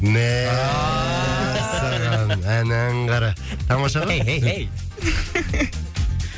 мәссаған әнәң қара тамаша ғой хей хей хей